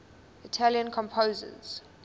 italian composers